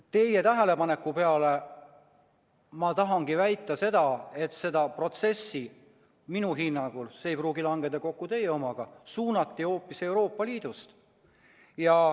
Teie tähelepaneku peale ma tahangi väita, et seda protsessi minu hinnangul – see ei pruugi langeda kokku teie omaga – suunati hoopis Euroopa Liidust.